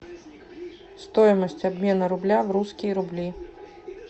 стоимость обмена рубля в русские рубли